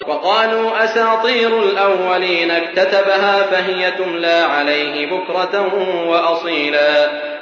وَقَالُوا أَسَاطِيرُ الْأَوَّلِينَ اكْتَتَبَهَا فَهِيَ تُمْلَىٰ عَلَيْهِ بُكْرَةً وَأَصِيلًا